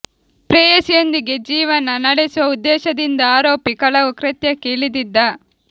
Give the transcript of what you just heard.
ಪ್ರೇಯಸಿಯೊಂದಿಗೆ ಜೀ ವನ ನಡೆಸುವ ಉದ್ದೇಶದಿಂದ ಆರೋಪಿ ಕಳವು ಕೃತ್ಯಕ್ಕೆ ಇಳಿದಿದ್ದ